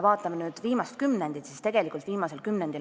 Vaatame viimast kümnendit.